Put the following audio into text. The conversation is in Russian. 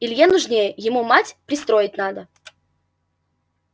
илье нужнее ему мать пристроить надо